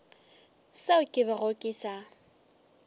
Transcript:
seo ke bego ke sa